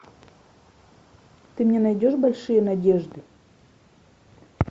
ты мне найдешь большие надежды